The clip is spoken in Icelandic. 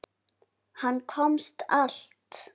Hann komst allt.